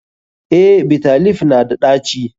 Eh, Bitter leaf na da ɗaci.